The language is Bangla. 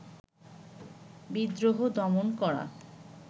বিদ্রোহ দমন করা